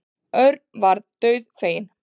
Örn varð dauðfeginn.